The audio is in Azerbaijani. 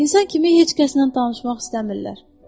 İnsan kimi heç kəslə danışmaq istəmirlər.